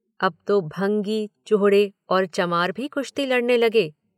अब तो भंगी, चूहड़े और चमार भी कुश्ती लड़ने लगे।